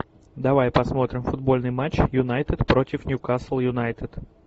давай посмотрим футбольный матч юнайтед против ньюкасл юнайтед